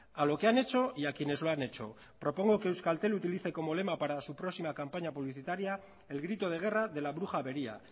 a lo que han hecho y a quienes lo han hecho propongo que euskaltel utilice como lema para su próxima campaña publicitaria el grito de guerra de la bruja avería